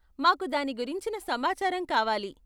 మాకు దాని గురించిన సమాచారం కావాలి.